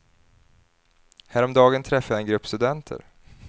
Häromdagen träffade jag en grupp studenter.